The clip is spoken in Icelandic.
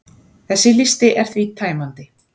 Þessi listi er því tæmandi.